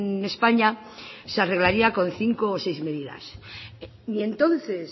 en españa se arreglaría con cinco o seis medidas y entonces